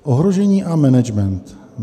Ohrožení a management.